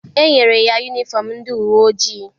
E nyere ya yunifọm ndị uwe ojii.